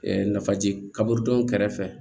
nafaji kaburu don kɛrɛfɛ